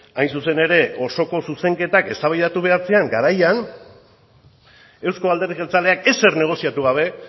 hain zuzen ere osoko zuzenketak eztabaidatu behar ziren garaian euzko alderdi jeltzaleak ezer negoziatu gabe